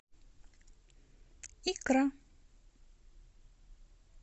икра